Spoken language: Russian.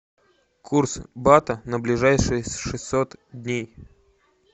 курс бата на ближайшие шестьсот дней